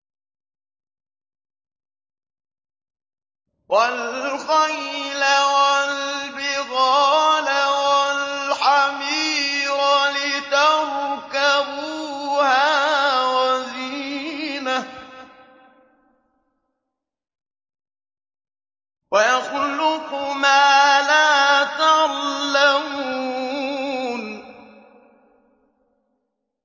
وَالْخَيْلَ وَالْبِغَالَ وَالْحَمِيرَ لِتَرْكَبُوهَا وَزِينَةً ۚ وَيَخْلُقُ مَا لَا تَعْلَمُونَ